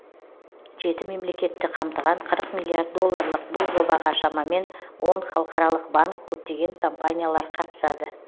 жеті мемлекетті қамтыған қырық миллиард долларлық бұл жобаға шамамен он халықаралық банк көптеген компаниялар қатысады